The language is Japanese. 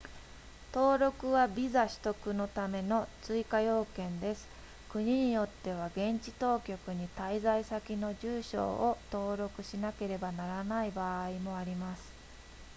登録はビザ取得のための追加要件です国によっては現地当局に滞在先と住所を登録しなければならない場合もあります